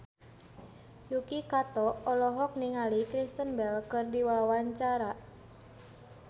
Yuki Kato olohok ningali Kristen Bell keur diwawancara